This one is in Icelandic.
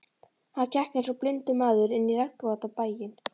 Hann gekk einsog blindur maður inn í regnvotan bæinn.